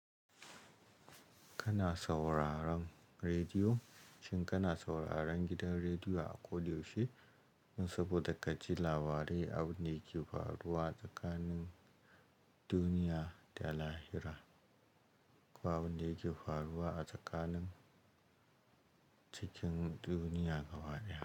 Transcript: Kana sauraron rediyo, shin kana sauraron gidan rediyo a ƙodyaushe saboda ka ji labarai abin da yake faruwa tsakanin duniya da lahira, ko abin da yake faruwa a tsakanin cikin duniya gaba daya.